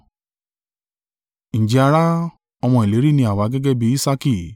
Ǹjẹ́ ará, ọmọ ìlérí ni àwa gẹ́gẹ́ bí Isaaki.